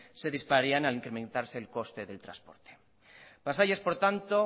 se dispararían al incrementarse el coste del transporte pasaia es por tanto